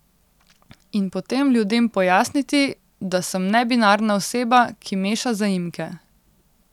In potem ljudem pojasniti, da sem nebinarna oseba, ki meša zaimke.